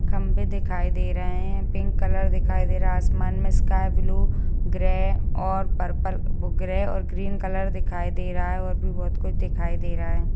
खम्भे दिखाई दे रहे हैं पिंक कलर दिखाई दे रहा हैंआसमान में स्काई ब्लू ग्रे और पर्पल ग्रे और ग्रीन कलर दिखाई दे रहा हैं और भी बहोत कुछ दिखाई दे रहा हैं।